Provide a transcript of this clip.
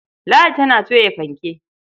Ladi tana toya fanke.